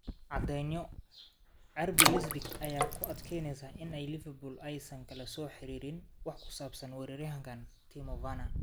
(Cadceedo) RB Leipzig ayaa ku adkeysaneysa in Liverpool aysan kala soo xiriirin wax ku saabsan weeraryahanka Timo Werner.